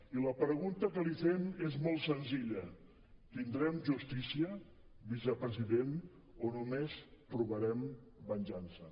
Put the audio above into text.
i la pregunta que li fem és molt senzilla tindrem justícia vicepresident o només trobarem venjança